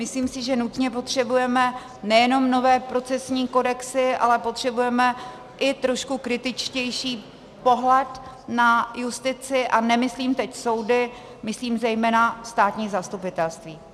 Myslím si, že nutně potřebujeme nejenom nové procesní kodexy, ale potřebujeme i trošku kritičtější pohled na justici, a nemyslím teď soudy, myslím zejména státní zastupitelství.